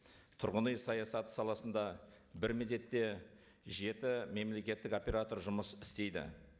тұрғын үй саясаты саласында бір мезетте жеті мемлекеттік оператор жұмыс істейді